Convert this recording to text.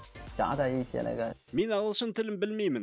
мен ағылшын тілін білмеймін